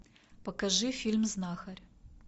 покажи фильм знахарь